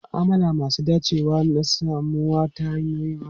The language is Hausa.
Ma'amala masu dacewa na samuwa ta wayoyin hannu.